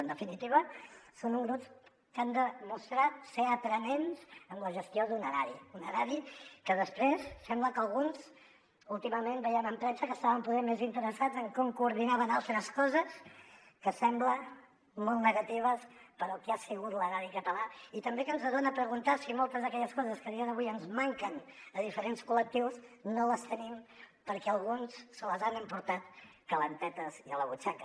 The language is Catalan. en definitiva són uns grups que han demostrat ser aprenents en la gestió d’un erari un erari que després sembla que alguns últimament veiem en premsa estaven poder més interessats en com coordinaven altres coses que semblen molt negatives pel que ha sigut l’erari català i també que ens fan preguntar si moltes d’aquelles coses que a dia d’avui ens manquen a diferents col·lectius no les tenim perquè alguns se les han emportat calentetes i a la butxaca